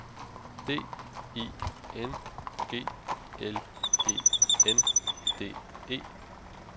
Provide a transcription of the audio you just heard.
D I N G L E N D E